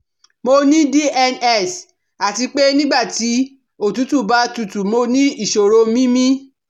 Mo ní DNS àti pé nígbà tí òtútù bá tutù mo ní ìṣòro mímí